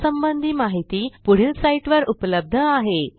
यासंबंधी माहिती पुढील साईटवर उपलब्ध आहे